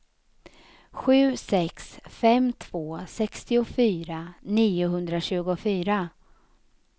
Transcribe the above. sju sex fem två sextiofyra niohundratjugofyra